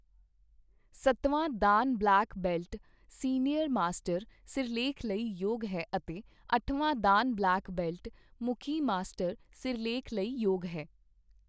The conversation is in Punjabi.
ਸੱਤਵਾਂ dan black belt 'senior master' ਸਿਰਲੇਖ ਲਈ ਯੋਗ ਹੈ ਅਤੇ ਅੱਠਵਾਂ ਦਾਨ ਬਲੈਕ ਬੈਲਟ ' ਮੁੱਖੀ ਮਾਸਟਰ' ਸਿਰਲੇਖ ਲਈ ਯੋਗ ਹੈ।